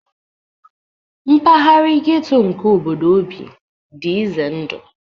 Mpaghara ghetto nke obodo o bi dị ize ndụ